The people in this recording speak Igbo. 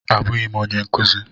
Abụghị m onye nkuzi.